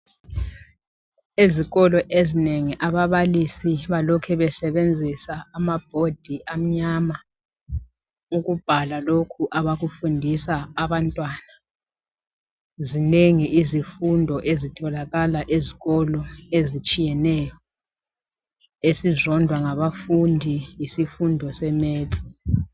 Ezikolo ezinengi ababalisi balokhe besebenzisa amabhodi amnyama ukubhala lokhu abakufundisa abantwana. Zinengi izifundo ezitholakala esikolo ezitshiyeneyo. Esizondwa ngabafundi yisifundo se Maths.